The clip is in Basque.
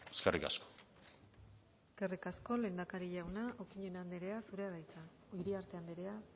eskerrik asko eskerrik asko lehendakari jauna iriarte andrea